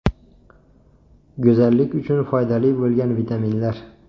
Go‘zallik uchun foydali bo‘lgan vitaminlar.